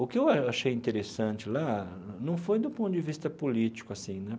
O que eu achei interessante lá não foi do ponto de vista político, assim, né?